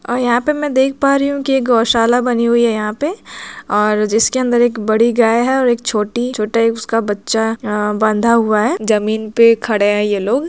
और यहां पे मै देख पा रही हु की एक गौशाला बनी हुई है यहां पे और जिसके अंदर एक बड़ी गाय है और एक छोटी छोटा उसका बच्चा बंधा हुआ है जमीन पे खड़े है ये लोग -----